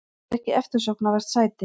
Þetta er ekki eftirsóknarvert sæti.